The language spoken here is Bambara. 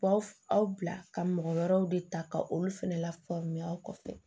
Baw aw bila ka mɔgɔ wɛrɛw de ta ka olu fɛnɛ lafaamuya aw kɔfɛ